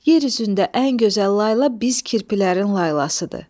Yer üzündə ən gözəl layla biz kirpilərin laylasıdır.